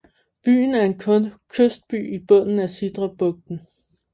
Byen er en kystby i bunden af Sidrabugten